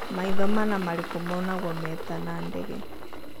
maitho mana marĩkũ monyangwo meta na ndege